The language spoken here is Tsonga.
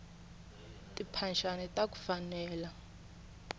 timphaxani taku fanela